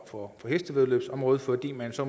på hestevæddeløbsområdet fordi man så